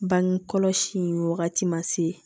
Bange kɔlɔsi in wagati ma se